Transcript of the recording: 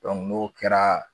Dɔnku n'o kɛra